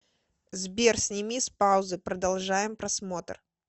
сбер сними с паузы продолжаем просмотр